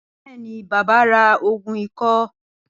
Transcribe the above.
Bẹẹni, Bàbá ra ògùn ikọ́